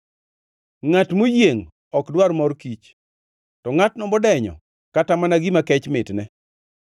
Ngʼat moyiengʼ ok dwar mor kich, to ngʼatno modenyo kata mana gima kech mitne.